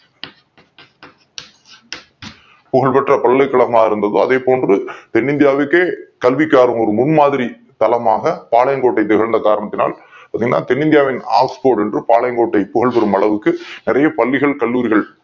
புகழ்பெற்ற பல்கலைக் கழகமாக இருந்தத அதே போன்று தென்னிந்தியாவுக்கே கல்விக்கான ஒரு முன் மாதிரியாக பாளை யங்கோட்டை இருந்த காரணத்தினால் தென்னிந்தியாவின் Oxford என்று பாளையங் கோட்டை புகழும் அளவிற்கு நிறைய பள்ளிகள் கல்லூரிகள்